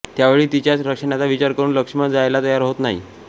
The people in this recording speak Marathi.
त्यावेळी तिच्याच रक्षणाचा विचार करून लक्ष्मण जायला तयार होत नाही